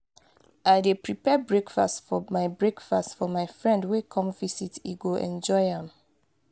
i dey prepare breakfast for my breakfast for my friend wey come visit; e go enjoy am.